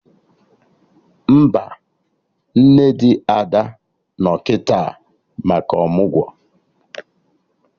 Mba, nne di Ada no kịta maka ọmụgwọ